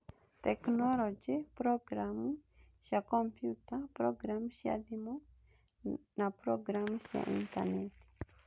Tekinoronjĩ: Programu cia kompiuta, programu cia thimũ, na programu cia Intaneti